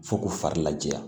Fo k'u fari laja